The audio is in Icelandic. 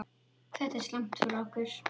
Þetta er slæmt fyrir okkur.